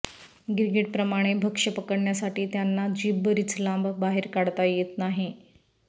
गिरगिट प्रमाणे भक्ष्य पकडण्यासाठी त्यांना जीभ बरीच लांब बाहेर काढता येत नाही